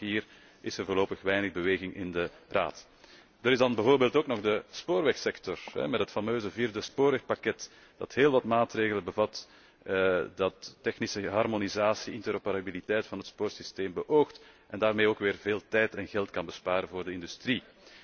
Maar ook hier is er voorlopig weinig beweging in de Raad. Dan is er bijvoorbeeld ook nog de spoorwegsector, met het fameuze vierde Spoorwegpakket, dat heel wat maatregelen bevat, dat technische harmonisatie, interoperabiliteit van het spoorwegsysteem beoogt en daarmee ook weer veel tijd en geld kan besparen voor de industrie.